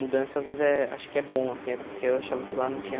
Mudança, às vezes é, acho que é bom, assim, até porque eu achava que lá não tinha...